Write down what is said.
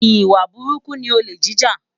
Iwá búrúkú ni ólé jijá